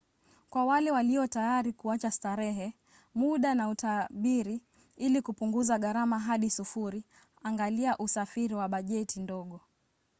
kwa wale walio tayari kuacha starehe muda na utabiri ili kupunguza garama hadi sufuri angalia usafiri wa bajeti ndogo